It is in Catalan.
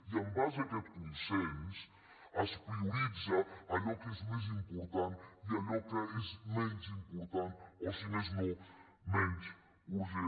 i en base a aquest consens es prioritza allò que és més important i allò que és menys important o si més no menys urgent